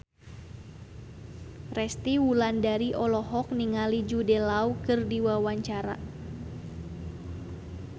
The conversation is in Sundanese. Resty Wulandari olohok ningali Jude Law keur diwawancara